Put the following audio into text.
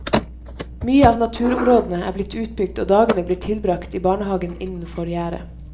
Mye av naturområdene er blitt utbygd og dagene blir tilbrakt i barnehagen innenfor gjerdet.